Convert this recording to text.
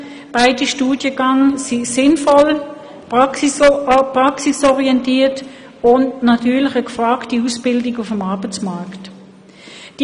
Beide Studiengänge sind sinnvoll, praxisorientiert und stellen natürlich eine gefragte Ausbildung auf dem Arbeitsmarkt dar.